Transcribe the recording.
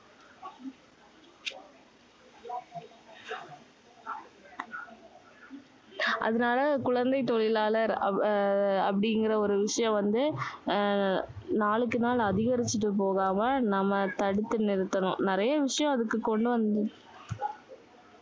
அதனால குழந்தை தொழிலாளர் அப்படிங்கிற ஒரு விஷயம் வந்து, நாளுக்கு நாள் அதிகரிச்சிட்டு போகாம நம்ம தடுத்து நிறுத்தணும். நிறைய விஷயம் அதுக்கு கொண்டு வந்து.